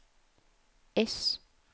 S